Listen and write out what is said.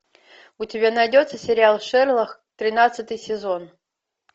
у тебя найдется сериал шерлок тринадцатый сезон